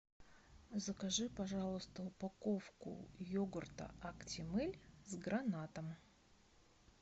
закажи пожалуйста упаковку йогурта актимель с гранатом